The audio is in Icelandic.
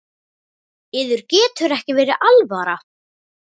Yður getur ekki verið alvara?